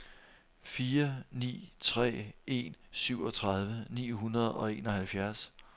fire ni tre en syvogtredive ni hundrede og enoghalvfjerds